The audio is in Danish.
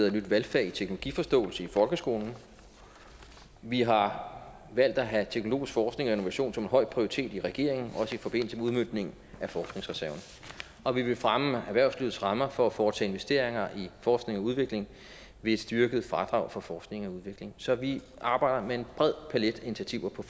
et nyt valgfag teknologiforståelse i folkeskolen og vi har valgt at have teknologisk forskning og innovation som en høj prioritet i regeringen også i forbindelse med udmøntningen af forskningsreserven og vi vil fremme erhvervslivets rammer for at foretage investeringer i forskning og udvikling ved et styrket fradrag for forskning og udvikling så vi arbejder med en bred palet af initiativer på